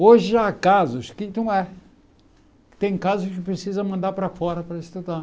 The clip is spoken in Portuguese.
Hoje há casos que então é. Tem casos que precisa mandar para fora para estudar.